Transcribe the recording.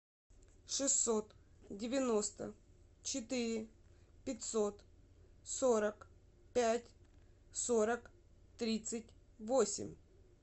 шестьсот девяносто четыре пятьсот сорок пять сорок тридцать восемь